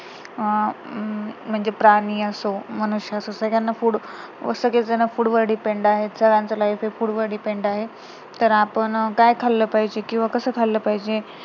अं म्हणजे प्राणी असो, मनुष्य असो याना food सगळेच जण food वर depend आहे तर सर्वांचं life हे food वर depend आहे तर आपण काय खाल्लं पाहिजे, कसं खाल्लं पाहिजे